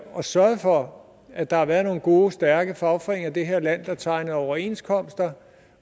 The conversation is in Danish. og sørget for at der havde været nogle gode stærke fagforeninger i det her land der tegnede overenskomster